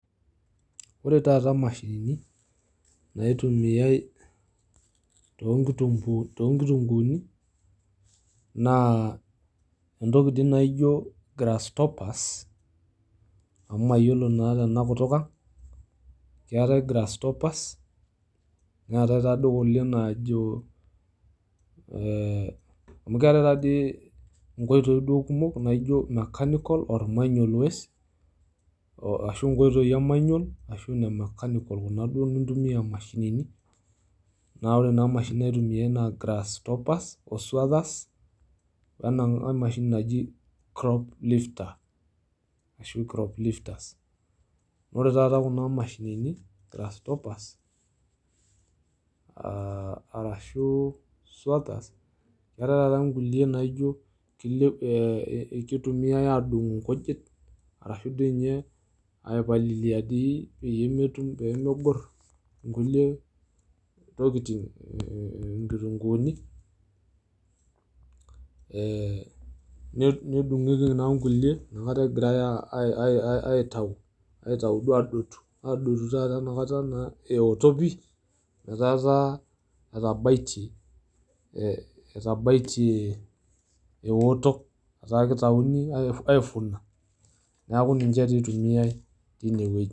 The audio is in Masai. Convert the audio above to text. ore taata imashinini naitumiayiay tonkitunguni naa entoki nai naijo grass stoppers amu mayiolo naa tena kutuk ang. keetae grass stoppers neetae kulie najo ee amu keetae taadoi nkoitoi kumok amu ketae taadoi nkulie naijo mechanical or manual waste ashu nkoitoi e manual ashu ina mechanical kuna duoo nintumia imashinini . naa ore naa imashinini naitumiyay naa grass stoppers o swazers o ena mashini naji crop lifter ashu crop lifters. ore taata kuna mashinini grass stoppers aa arashu swazers eetae taata nkulie naijo kilep kitumiayay adung nkujit ashu dii inye aipalilia peyie metum peyie megor nkulie tokitin mm nkitunguni ee nedungieki naa nkulie ina kata egirae aa aa aitau ,aitau duo adotu ,adotu duo enakta taata ewotok pi metaa taa etabaitie ee etabaitie ewotok niaku kitaini aifuna niaku ninche tee eitumiyay teine wueji